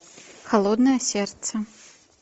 холодное сердце